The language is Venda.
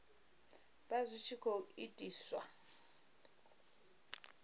vha zwi tshi khou itiswa